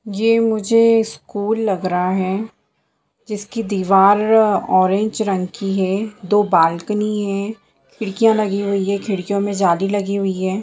ये मुझे स्कूल लग रहा है जिसकी दीवार ऑरेंज रंग की है दो बालकानी है खिड़कियाँ लगी हुई है खिड़कियों में जाली लगी हुई है।